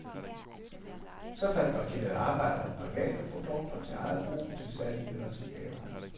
Så fabrikerede arbejderne private produkter til eget brug, til salg eller til gaver.